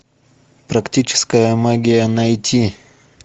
практическая магия найти